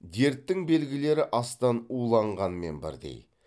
дерттің белгілері астан уланғанмен бірдей